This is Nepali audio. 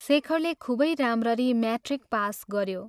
शेखरले खूबै राम्ररी म्याट्रिक पास गयो।